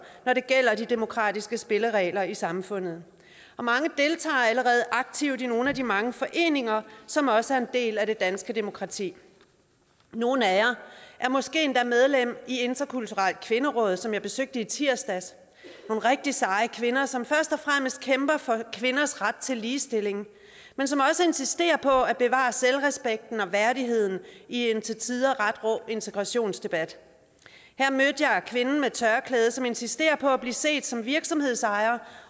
når det gælder de demokratiske spilleregler i samfundet mange deltager allerede aktivt i nogle af de mange foreninger som også er en del af det danske demokrati nogle af jer er måske endda medlem af interkulturelt kvinderåd som jeg besøgte i tirsdags nogle rigtig seje kvinder som først og fremmest kæmper for kvinders ret til ligestilling men som også insisterer på at bevare selvrespekten og værdigheden i en til tider ret rå integrationsdebat her mødte jeg kvinden med tørklædet som insisterer på at blive set som virksomhedsejer